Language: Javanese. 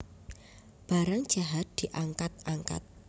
Barang jahat diangkat angkat